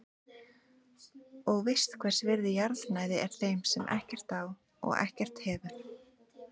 Og veist hvers virði jarðnæði er þeim sem ekkert á og ekkert hefur.